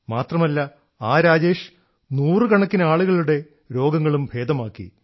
മാത്രമല്ല ആ രാജേഷ് നൂറുകണക്കിന് ആളുകളുടെ രോഗങ്ങളും ഭേദമാക്കി